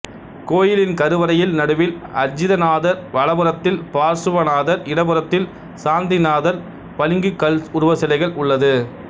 கோயிலின் கருவறையில் நடுவில் அஜிதநாதர் வலப்புறத்தில் பார்சுவநாதர் இடப்புறத்தில் சாந்திநாதர் பளிங்குக் கல் உருவச் சிலைகள் உள்ளது